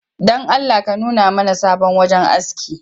Don Allah ka nuna mana sabon wajen aski